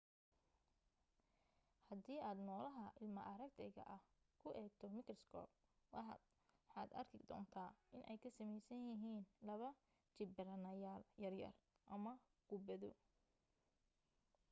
hadii aad noolaha ilma aragtayga ah ku eegto mikriskoob waxaad arki doontaa inay ka samaysan yihiin laba jibbaaranayaal yaryar ama kubbado